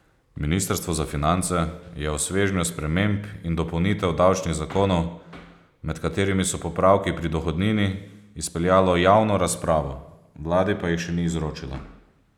Ministrstvo za finance je o svežnju sprememb in dopolnitev davčnih zakonov, med katerimi so popravki pri dohodnini, izpeljalo javno razpravo, vladi pa jih še ni izročilo.